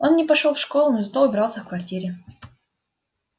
он не пошёл в школу но зато убрался в квартире